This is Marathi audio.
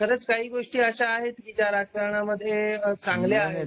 खरच काही गोष्टी अशा आहेत की त्या मध्ये चांगल्या आहेत